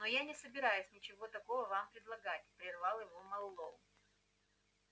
но я не собираюсь ничего такого вам предлагать прервал его мэллоу